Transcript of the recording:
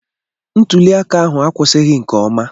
Ntuli aka ahụ akwụsịghị nke ọma.